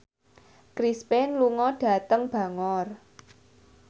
Chris Pane lunga dhateng Bangor